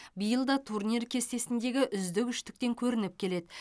биыл да турнир кестесіндегі үздік үштіктен көрініп келеді